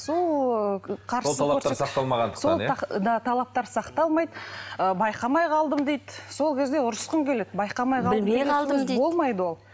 талаптар сақталмайды ы байқамай қалдым дейді сол кезде ұрысқым келеді болмайды ол